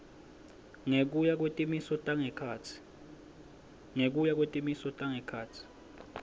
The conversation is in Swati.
ngekuya kwetimiso tangekhatsi